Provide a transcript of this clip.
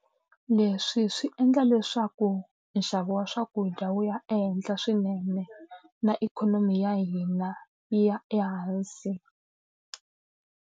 leswi swi endla leswaku nxavo wa swakudya wu ya ehenhla swinene, na ikhonomi ya hina yi ya ehansi.